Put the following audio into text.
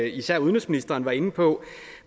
især udenrigsministeren var inde på